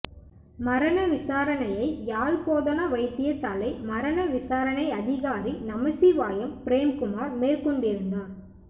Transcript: மரண விசாரணையை யாழ் போதனா வைத்தியசாலை மரண விசாரணை அதிகாரி நமசிவாயம் பிரேம்குமார் மேற்கொண்டிருந்தார்